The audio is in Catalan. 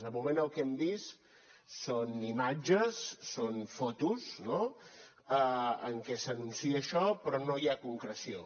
de moment el que hem vist són imatges són fotos no en què s’anuncia això però no hi ha concreció